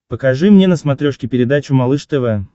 покажи мне на смотрешке передачу малыш тв